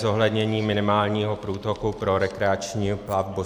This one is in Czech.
Zohlednění minimálního průtoku pro rekreační platbu.